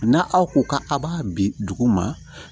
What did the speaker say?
Na aw ko k'a b'a bi dugu ma